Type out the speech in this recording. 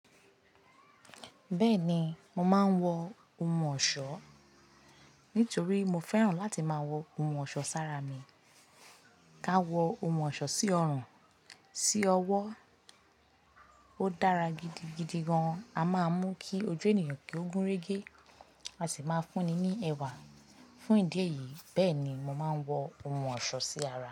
Bẹ́ẹ̀ni, mo máa ń wọ ohun ọ̀ṣọ́ nítorí mo fẹ́ràn láti máa wọ ohun ọ̀ṣọ́ sára mi. Ka wọ ohun ọ̀ṣọ́ sí ọrùn, sí ọwọ́. Ó dára gidigidi gan. A máa mú kí ojú ènìyàn kí ó gúnrégé, a sì máa fúnni ní ẹwà. Fún ìdí èyí, bẹ́ẹ̀ ni mo máa ń wọ ohun ọ̀ṣọ́ sí ara.